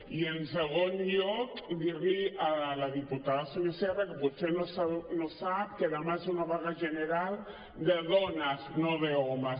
i en segon lloc dir li a la diputada sonia sierra que potser no sap que demà és una vaga general de dones no d’homes